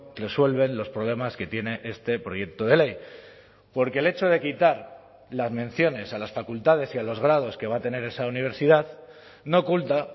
resuelven los problemas que tiene este proyecto de ley porque el hecho de quitar las menciones a las facultades y a los grados que va a tener esa universidad no oculta